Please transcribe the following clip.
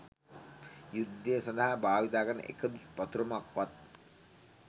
යුද්ධය සදහා භාවිතාකරන එකදු පතොරමක්වත්